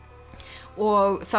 og það